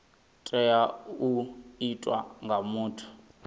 tea u itwa nga muthu